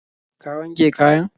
Ka wanke kayan?